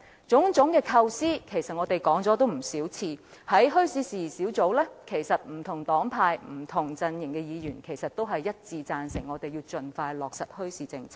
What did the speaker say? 在墟市事宜小組委員會內，不同黨派、不同陣營的議員都一致贊成我們應盡快落實墟市政策。